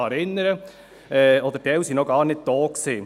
Ich erinnere Sie einfach dran: